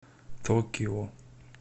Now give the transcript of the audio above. токио